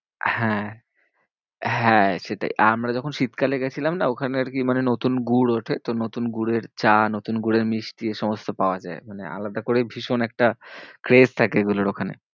হ্যাঁ হ্যাঁ সেটাই। আমরা যখন শীতকালে গেছিলাম না ওখানে আরকি মানে নতুন গুড় ওঠে। তো নতুন গুড়ের চা, নতুন গুড়ের মিষ্টি, এইসমস্ত পাওয়া যায়। মানে আলাদা করেই ভীষণ একটা craze থাকে এগুলোর ওখানে।